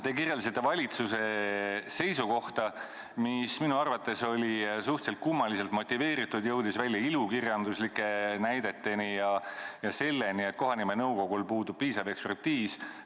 Te kirjeldasite valitsuse seisukohta, mis minu arvates oli suhteliselt kummaliselt motiveeritud, see jõudis välja ilukirjanduslike näideteni ja selleni, et kohanimenõukogul puudub piisav ekspertiisivõimekus.